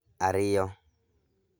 Ariyo